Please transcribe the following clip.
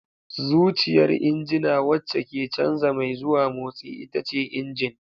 Zuciyar injina wacce ke canza mai zuwa motsi ita ce injin.